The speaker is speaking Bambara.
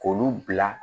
K'olu bila